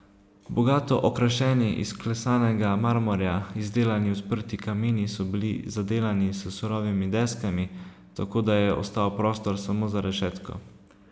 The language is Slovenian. Bogato okrašeni, iz klesanega marmorja izdelani odprti kamini so bili zadelani s surovimi deskami, tako da je ostal prostor samo za rešetko.